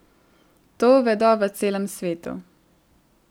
To vedo v celem svetu.